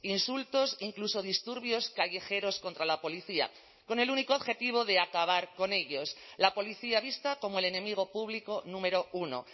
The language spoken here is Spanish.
insultos incluso disturbios callejeros contra la policía con el único objetivo de acabar con ellos la policía vista como el enemigo público número uno